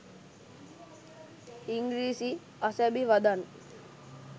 ඉංගිරිසි අසැබි වදන්